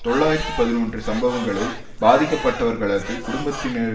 தொள்ளாயிரத்து பதினொன்று சம்பவங்களில் பாதிக்கப்பட்டவர்களது குடும்பத்தினர்